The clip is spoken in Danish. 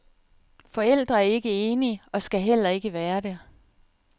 Forældre er ikke enige, og skal heller ikke være det.